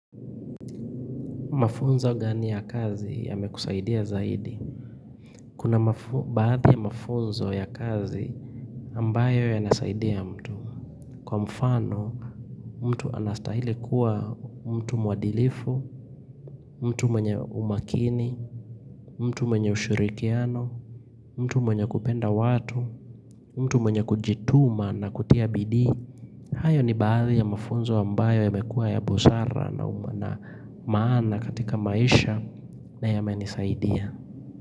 Mafunzo gani ya kazi yamekusaidia zaidi? Kuna baadhi ya mafunzo ya kazi ambayo yanasaidia mtu. Kwa mfano, mtu anastahili kuwa mtu mwadilifu, mtu mwenye umakini, mtu mwenye ushurikiano, mtu mwenye kupenda watu, mtu mwenye kujituma na kutia bidii. Hayo ni baadhi ya mafunzo ambayo yamekua ya busara na maana katika maisha na yamenisaidia.